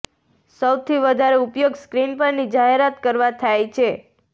સૌથી વધારે ઉપયોગ સ્ક્રીન પરની જાહેરાત કરવા થાય છે